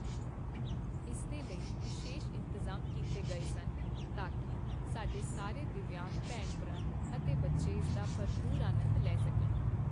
ਇਸ ਦੇ ਲਈ ਵਿਸ਼ੇਸ਼ ਇੰਤਜ਼ਾਮ ਕੀਤੇ ਗਏ ਸਨ ਤਾਂ ਕੀ ਸਾਡੇ ਸਾਰੇ ਦਿੱਵਯਾਂਗ ਭੈਣ ਭਰਾ ਅਤੇ ਬੱਚੇ ਇਸ ਦਾ ਭਰਪੂਰ ਆਨੰਦ ਲੈ ਸਕਣ।